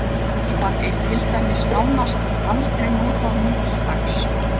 Telpa er til dæmis nánast aldrei notað nútildags.